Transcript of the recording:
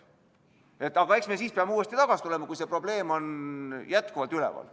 Aga eks me siis peame uuesti selle juurde tagasi tulema, kui see probleem on jätkuvalt üleval.